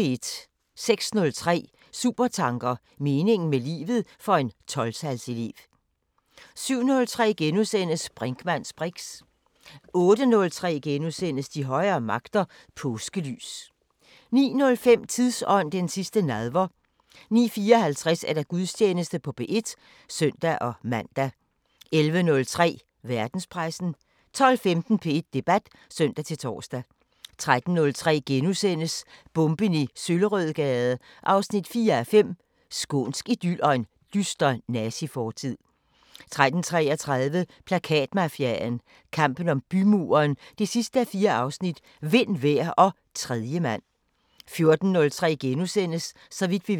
06:03: Supertanker: Meningen med livet – for en 12-tals elev 07:03: Brinkmanns briks * 08:03: De højere magter: Påskelys * 09:05: Tidsånd: Den sidste nadver 09:54: Gudstjeneste på P1 (søn-man) 11:03: Verdenspressen 12:15: P1 Debat (søn-tor) 13:03: Bomben i Søllerødgade 4:5 – Skånsk idyl og en dyster nazifortid * 13:33: Plakatmafiaen – kampen om bymuren 4:4 – Vind, vejr og tredjemand 14:03: Så vidt vi ved *